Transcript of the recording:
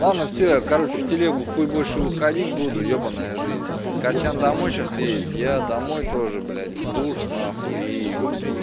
ладно всё я короче в телегу хуй больше выходить буду ебанная жизнь костян домой сейчас едет я домой тоже блядь в душ нахуй и